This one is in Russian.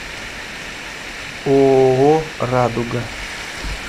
ооо радуга